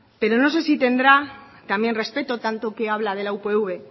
pero no sé si tendrá también respeto tanto que habla de la upv